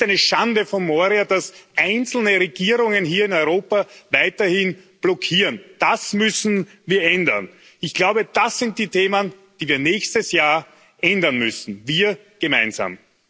Es ist eine Schande von Moria, dass einzelne Regierungen hier in Europa weiterhin blockieren. Das müssen wir ändern. Ich glaube, das sind die Themen, die wir nächstes Jahr ändern müssen, wir gemeinsam.